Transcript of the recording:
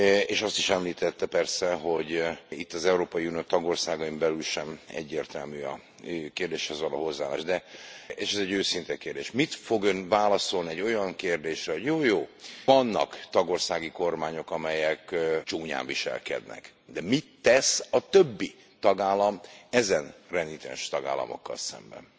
És azt is említette persze, hogy itt az Európai Unió tagországain belül sem egyértelmű a kérdéshez való hozzáállás, de és ez egy őszinte kérdés mit fog Ön válaszolni egy olyan kérdésre, hogy jó jó, vannak tagországi kormányok, amelyek csúnyán viselkednek, de mit tesz a többi tagállam e renitens tagállamokkal szemben?